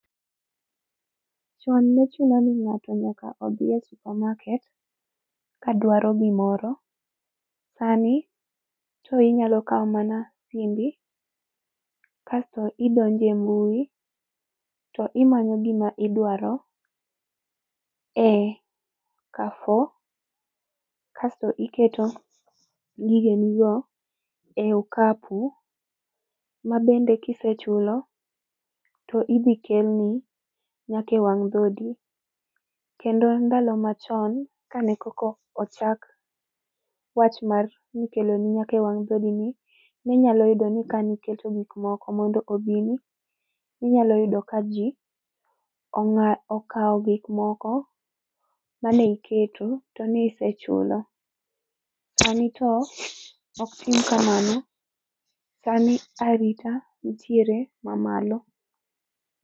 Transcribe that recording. Chon ne chuno ni ng'ato nyaka odhi e supermarket kadwaro gimoro. Sani to inyalo kawo mana simbi kasto idonjo e mbui, to imanyo gima idwaro e Carrefour kasto iketo gigenigo e okapu, mabende kisechulo to idhi kelni nyaka e wang' dhodi. Kendo ndalo machon, ka ne koka ochak wach mar ni ikeloni nyaka e wang' dhodini, ninyalo yudo ni kani keto gikmoko mondo odhini, ninyalo yudo ka ji okawo gikmoko mane iketo to nisechulo. Sani to ok tim kamano, sani arita nitiere mamalo.